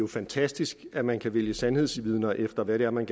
fantastisk at man kan vælge sandhedsvidner efter hvad det er man